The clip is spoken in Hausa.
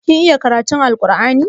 Kin iya karatun Alkur'ani?